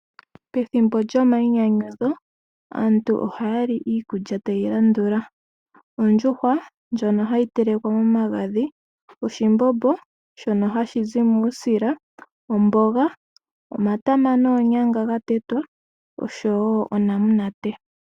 Pethimbo lyomayinyanyudho aantu ohaya li iikulya tayi landula, ondjuhwa ndjono hayi telekwa momagadhi, oshimbombo shono hashi zi muusila, omboga, omatama noonyanga gatetwa, osho wo onamunate.